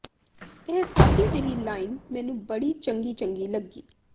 ਇਹ ਸਾਦੀ ਜਹੀ ਲਾਈਨ ਮੈਨੂੰ ਬੜੀ ਚੰਗੀ ਚੰਗੀ ਲੱਗੀ